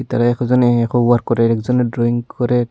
তারা এক এক জনে এক ওয়ার্ক করে আর একজনে ড্রয়িং করে।